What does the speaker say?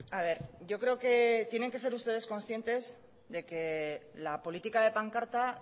a ver yo creo que tienen que ser ustedes conscientes de que la política de pancarta